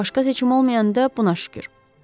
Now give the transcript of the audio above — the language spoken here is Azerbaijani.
Başqa seçim olmayanda buna şükür.